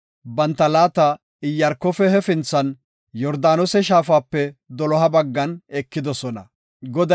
banta laata Iyaarkofe hefinthan, Yordaanose Shaafape doloha baggan ekidosona” yaagis.